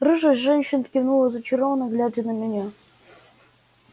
рыжая женщина кивнула зачарованно глядя на меня